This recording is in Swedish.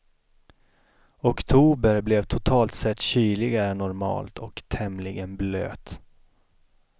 Oktober blev totalt sett kyligare än normalt och tämligen blöt.